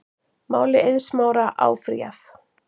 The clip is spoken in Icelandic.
Máli Eiðs Smára áfrýjað